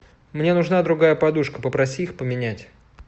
мне нужна другая подушка попроси их поменять